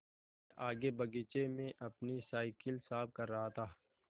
मैं आगे बगीचे में अपनी साईकिल साफ़ कर रहा था